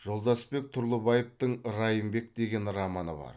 жолдасбек тұрлыбаевтың райымбек деген романы бар